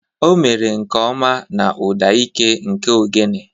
O mere nke ọma na ụda ike nke ogene.